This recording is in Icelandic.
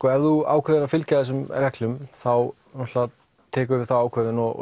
ef þú ákveður að fylgja þessum reglum þá tekurðu þá ákvörðun og